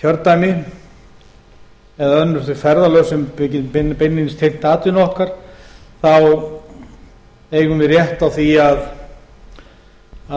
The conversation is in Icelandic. kjördæmi eða önnur þau ferðalög sem beinlínis eru tengd atvinnu okkar þá eigum við rétt á því